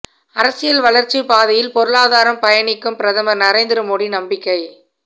அரசியல் வளர்ச்சி பாதையில் பொருளாதாரம் பயணிக்கும் பிரதமர் நரேந்திர மோடி நம்பிக்கை